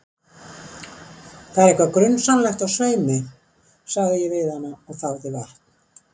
Það er eitthvað grunsamlegt á sveimi, sagði ég við hana og þáði vatn.